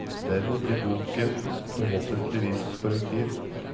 Dermed blir boken forhåpentlig et korrektiv.